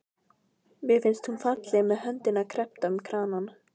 Mér finnst hún falleg með höndina kreppta um kranann.